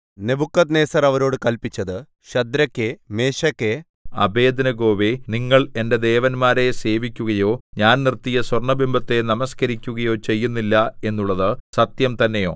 Nebuchadnezzar അവരോട് കല്പിച്ചത് ശദ്രക്കേ മേശക്കേ അബേദ്നെഗോവേ നിങ്ങൾ എന്റെ ദേവന്മാരെ സേവിക്കുകയോ ഞാൻ നിർത്തിയ സ്വർണ്ണബിംബത്തെ നമസ്കരിക്കുകയോ ചെയ്യുന്നില്ല എന്നുള്ളത് സത്യം തന്നെയോ